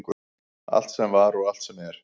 Allt sem var og allt sem er.